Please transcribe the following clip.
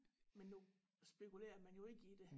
Men nu spekulerer man jo ikke i det